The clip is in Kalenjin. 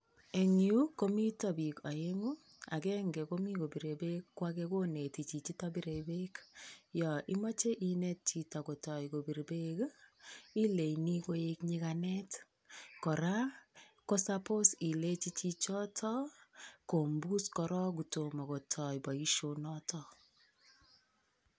Eng yu komita pik aengu. Agenge ko mita kopire beek ko age koneti chichito bire beek. Yon imache inet chito kotoi kopir beek ii, ileini koek nyiganet. Kora ko "[supposed]" ilenji chichoto kompus korok kotoma kotoi boisionoto.